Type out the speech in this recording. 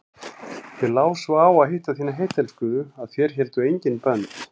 Þér lá svo á að hitta þína heittelskuðu að þér héldu engin bönd.